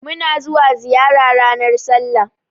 Muna zuwa ziyara ranar sallah